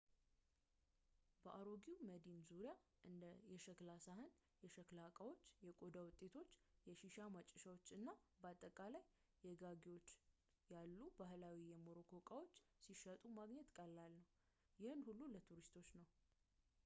በአሮጌው መዲና ዙሪያ እንደ የሸክላ ሳህን የሸክላ ዕቃዎች የቆዳ ውጤቶች የሺሻ ማጨሻዎች እና አጠቃላይ የጌጋዎች ያሉ ባህላዊ የሞሮኮ እቃዎች ሲሸጡ ማግኘት ቀላል ነው ግን ይህ ሁሉ ለቱሪስቶች ነው